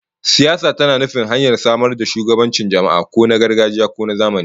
Siyasa tana nufin hanyar samar da shugabancin jama'a, ko na gargajiya ko na zamani